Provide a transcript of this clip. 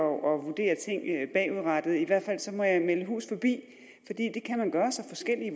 vurdere ting bagudrettet i hvert fald må jeg melde hus forbi for det kan man gøre sig forskellige